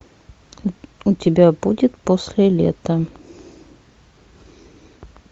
у тебя будет после лета